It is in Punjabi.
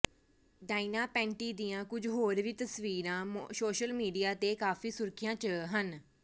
ਡਾਇਨਾ ਪੈਂਟੀ ਦੀਆਂ ਕੁਝ ਹੋਰ ਵੀ ਤਸਵੀਰਾਂ ਸੋਸ਼ਲ ਮੀਡੀਆ ਤੇ ਕਾਫੀ ਸੁਰਖੀਆਂ ਚ ਹਨ